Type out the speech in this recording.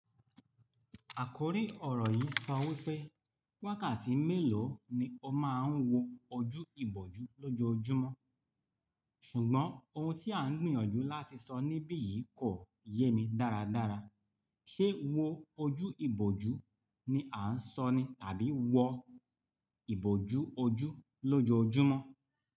Àkòrí ọ̀rọ̀ yìí sọ wí pé, wákàtí mélòó ni ọ máa ń wo ojú ìbòjú lójoojúmọ́? Ṣùgbọ́n ohun tí à ń gbìyànjú láti sọ níbí yìí kò yé mi dáradára. Ṣé wo ojú ìbòjú ni à ń sọ ni? Tàbí wo ìbòjú ojú lójoojúmọ́?